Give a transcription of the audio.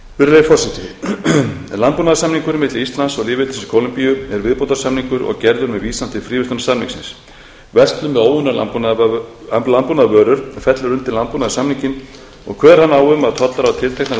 virðulegi forseti landbúnaðarsamningurinn milli íslands og lýðveldisins kólumbíu er viðbótarsamningur og gerður með vísan til fríverslunarsamningsins verslun með óunnar landbúnaðarvörur fellur undir landbúnaðarsamninginn og kveður hann á um að tollar á tilteknar